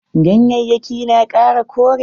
Ganyayyakin na kara kore.